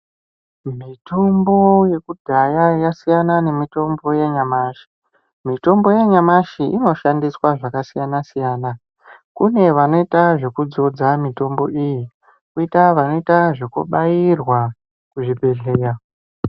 Mitombo ye kudhaya yasiyana ne mitombo ya nyamashi mitombo ya nyamashi ino shandiswa zvaka siyana kune vanoita zveku dzodza mitombo iyi koita vanoita zveku bairwa ku zvi bhedhlera.